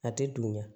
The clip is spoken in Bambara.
A tɛ dunya